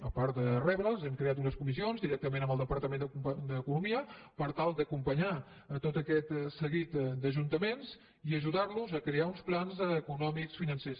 a part de rebre’ls hem creat unes comissions directament amb el departament d’economia per tal d’acompanyar tot aquest seguit d’ajuntaments i ajudar los a crear uns plans econòmics i financers